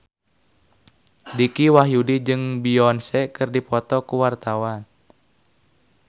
Dicky Wahyudi jeung Beyonce keur dipoto ku wartawan